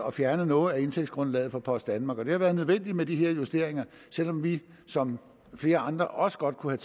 at fjerne noget af indtægtsgrundlaget for post danmark det har været nødvendigt med de her justeringer selv om vi som flere andre også godt kunne